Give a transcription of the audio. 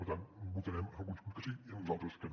per tant votarem en alguns punts que sí i en uns altres que no